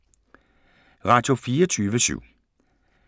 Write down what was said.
Radio24syv